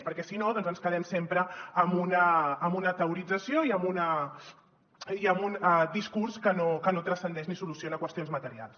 perquè si no doncs ens quedem sempre amb una teorització i amb un discurs que no transcendeix ni soluciona qüestions materials